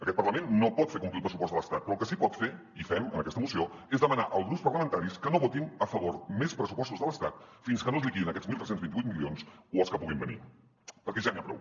aquest parlament no pot fer complir el pressupost de l’estat però el que sí que pot fer i fem en aquesta moció és demanar als grups parlamentaris que no votin a favor més pressupostos de l’estat fins que no es liquidin aquests tretze vint vuit milions o els que puguin venir perquè ja n’hi ha prou